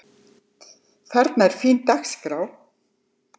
Þarna er fín dagskrá.